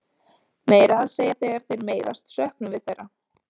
Meira að segja þegar þeir meiðast söknum við þeirra.